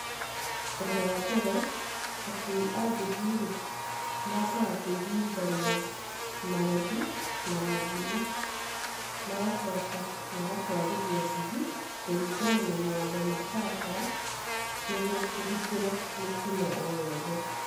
Ũndũ wambere akui a nduthi rĩ, mambaga kũiguithania marĩhi na mũthii, magacoka magatwarithia nduthi kũringana na mawatho ma barabara nĩguo kũgitĩra mĩtino o yothe.